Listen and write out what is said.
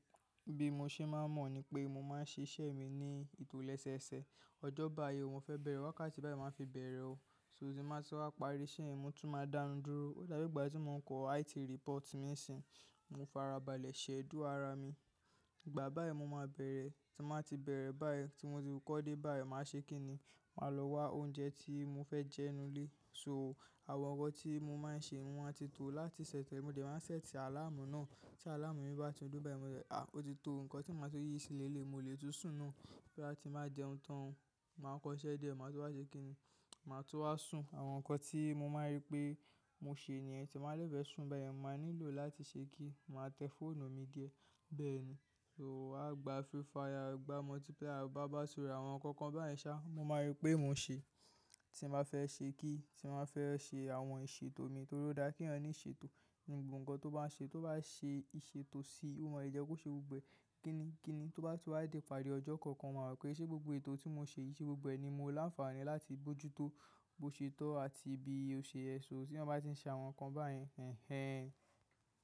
Bi mo ṣe máa ń mọ̀ ni pé mo máa ń ṣiṣẹ́ mi ní ètò lẹ́sẹẹsẹ. Ọjọ́ bá yi o, mo fẹ bẹ̀rẹ̀ wákàtí báyìí máa fi bẹ̀rẹ̀ ó. So tí n ba ti wá parí iṣẹ́ yẹn mo tún máa dánidúró. Ó dá bi ìgbà tí mo ń kọ IT report mí ń sìn. Mo farabalẹ̀ schedule ara mi. Ìgbà báyìí ni mo ma bẹrẹ, ti mo bati bere báyìí ti mo ti kọ de báyìí maa ṣe kinni. Màá lọ wá oúnjẹ tí mo fẹ jẹ nínú ilé. So àwọn ọwọ tí mo máa ń ṣe wọ́n a ti tó láti ṣẹ sẹ̀. Mo dẹ̀ máa ń ṣẹ́ẹ̀tì àláàmù náà. Tí àláàmù mi bá ti dún báyìí, mo dẹ́ à o ti tó. Ǹkan tí màá tun yí sí ni eléyi, mo lè tún sùn nù. Boya ti n be jẹun tan o, ma kọ iṣẹ́ díẹ̀ ma tun wa ṣe kinni. Màá tún wá sùn. Àwọn nǹkan tí mo máa rí pé mo ṣe nìyẹn tí n ba de fẹ́ sùn báyìí, màá nílò láti ṣe kí. Màá tẹ fóònù mi diẹ, bẹ́ẹ̀ ni. So wá gba free fire, wá gba multiplayer, wá bá sọ̀rọ̀ àwọn kankan báyìí sá. Mo máa rí pé mo ṣe tí mo bá fẹ ṣe kí, tí mo bá fẹ́ ṣe àwọn ìṣètò mi torí ó dá kí ẹni ní ìṣètò. Nìnu gbogbo nǹkan tó bá ń ṣe, tó bá ṣe ìṣètò sí i, ó máa le jẹ́ kó ṣe gbogbo ẹ́. Kíni kíni tó bá tú wá dé ìparí ọjọ́ kankan, màá rò pé ṣé gbogbo ètò tí mo ṣe yìí ṣe gbogbo ẹ̀ ni mo láǹfààní láti bojútó bo se tọ àti bi ose yẹ, so ti eyan ba ti n se àwọn nkan yen ehn ehn.